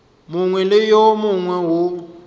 mongwe le wo mongwe wo